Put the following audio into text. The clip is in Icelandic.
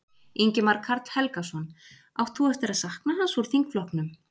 Ingimar Karl Helgason: Átt þú eftir að sakna hans úr þingflokknum?